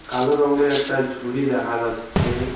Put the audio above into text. কালো রঙের একটা ঝুড়ি দেখা যাচ্ছে।